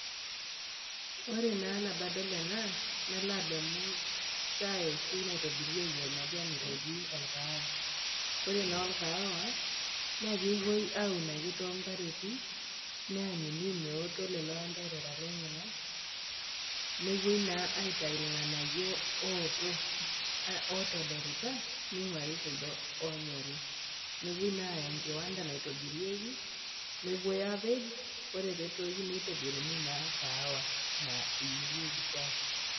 Ore naa nabo adol ena, nalo ademu shaai oshi naitobirieki olmajaani oji, olkaawa, ore naa olkaawa, na kewuoi ake aun too impareti, neanyuni meoto lelo anderera lenyena, nepuoi naa aituyu ilg'anayo ooto, otodorita neing'wari kuldo oonyori, nepuoi naa aaya enkiwanda naitobirieki, nepuoi aapej, ore pee etoyu neitobiruni naa kaawa nayierieki shaai.